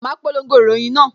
Ma polongo ìròyìn náà